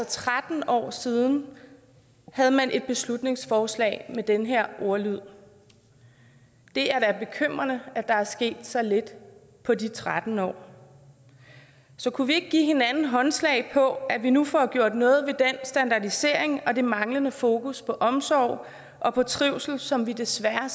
tretten år siden havde man et beslutningsforslag med den her ordlyd det er da bekymrende at der er sket så lidt på de tretten år så kunne vi ikke give hinanden håndslag på at vi nu får gjort noget ved den standardisering og det manglende fokus på omsorg og på trivsel som vi desværre